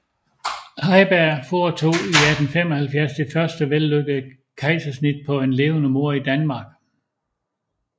Heiberg foretog i 1875 det første vellykkede kejsersnit på en levende mor i Danmark